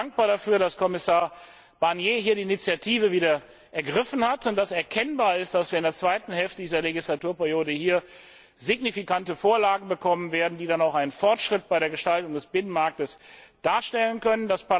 tun. Ich bin dankbar dafür, dass Kommissar Barnier hier die Initiative ergriffen hat und dass erkennbar ist, dass wir in der zweiten Hälfte dieser Legislaturperiode signifikante Vorlagen bekommen werden, die dann auch einen Fortschritt bei der Gestaltung des Binnenmarkts darstellen können.